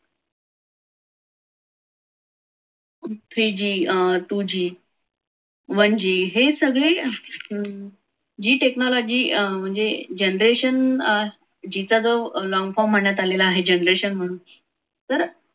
three g two g one g हे सगळे g technology म्हणजे अं generation g चा जो long form म्हणण्यात आलेला आहे. generation म्हणून तर theree g, two g, one g हे सगळे